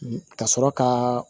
Ka sɔrɔ ka